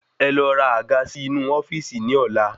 Ẹ lọ ra àga sì inú ofíìsì ni ola